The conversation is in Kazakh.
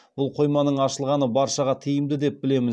бұл қойманың ашылғаны баршаға тиімді деп білемін